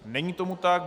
Není tomu tak.